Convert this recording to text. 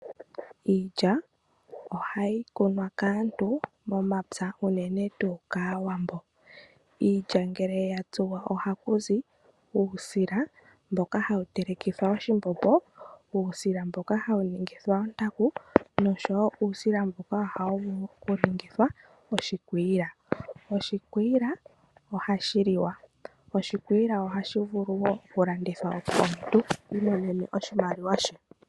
Iilya ohayi kunwa kaantu momapya uunene tuu kaawambo. Iilya ngele ya tsuwa ohaku zi uusila mboka hawu telekithwa oshimbombo, uusila mboka hawu ningithwa ontaku nosho wo uusila mboka hawu vulu oku ningithwa oshikwiila. Oshikwiila ohashi liwa, oshikwiila ohashi vulu wo oku landithwa, opo omuntu iimonene oshimaliwa she.